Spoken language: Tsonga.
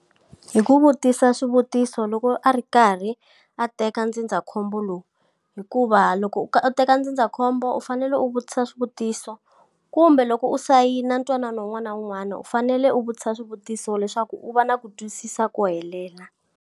Hi ku vutisa swivutiso loko a ri karhi a teka ndzindzakhombo lowu hikuva loko u u teka ndzindzakhombo u fanele u vutisa swivutiso. Kumbe loko u sayina ntwanano un'wana na un'wana u fanele u vutisa swivutiso leswaku u va na ku twisisa ko helela.